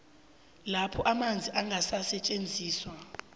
lapho amanzi angasetjenziswa